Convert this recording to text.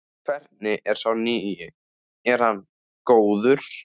Hvernig er sá nýi, er hann góður?